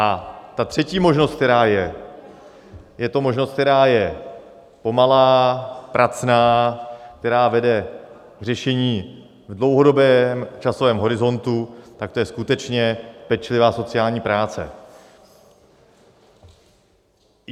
A ta třetí možnost, která je, je to možnost, která je pomalá, pracná, která vede k řešení v dlouhodobém časovém horizontu, tak to je skutečně pečlivá sociální práce.